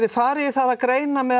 farið í það að greina með